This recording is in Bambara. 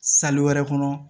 wɛrɛ kɔnɔ